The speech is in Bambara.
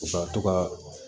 U ka to ka